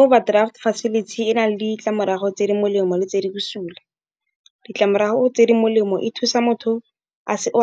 Overdraft facility e na le ditlamorago tse di molemo le tse di busula. Ditlamorago tse di molemo e thusa motho